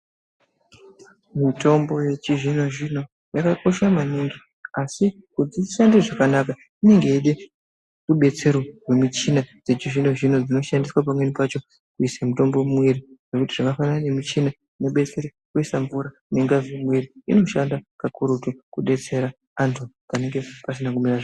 Mutombo wechizvino zvino wakakosha maningi asi kuti ishande zvakanaka inenge ichida kudetserwa pamuchina wechizvino zvino dzinoshandiswa pamweni pacho mutombo muya zvakafanana nemuchina unodetsera kuisa mvura nengazi mumwiri inoshanda maningi kudetsera antu anenge asina kumira zvakanaka.